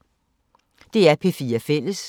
DR P4 Fælles